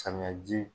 Samiyaji